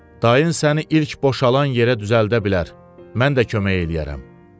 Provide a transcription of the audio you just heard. Dayın səni ilk boşalan yerə düzəldə bilər, mən də kömək eləyərəm.